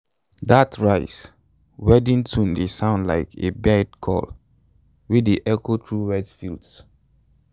dat rice-weeding tune dey sound like a bird call wey dey echo through wet fields